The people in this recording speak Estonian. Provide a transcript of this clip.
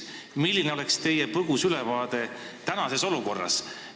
Milline oleks teie põgus ülevaade tänasest olukorrast?